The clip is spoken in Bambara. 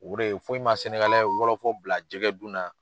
O de ye foyi ma wɔlɔfɔ bila jɛgɛ dun na.